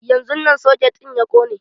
Yanzun nan soket ɗin ya kone.